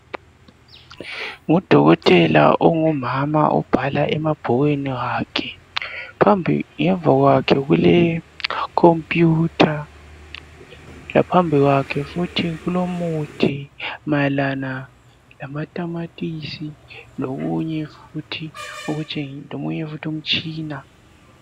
Ngudokotela ongumama obhala emabhukwini wakhe phambi kwakhe kule khompuyutha laphambi kwakhe futhi kulomuthi mayelana lamatamatisi lomunye futhi umtshina